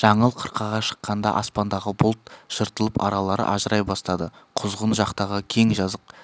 жаңыл қырқаға шыққанда аспандағы бұлт жыртылып аралары ажырай бастады құзғын жақтағы кең жазық